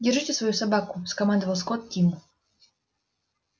держите свою собаку скомандовал скотт тиму